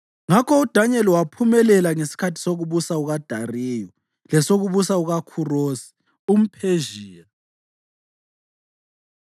Ngakho uDanyeli waphumelela ngesikhathi sokubusa kukaDariyu lesokubusa kukaKhurosi umPhezhiya.